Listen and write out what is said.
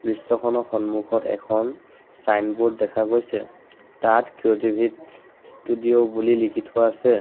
দৃশ্য সন্মুখত এখন ছাইনবোৰ্ড দেখা গৈছে তাত কেৰ'ভিত ষ্টুডিঅ' বুলি লিখি থোৱা আছে।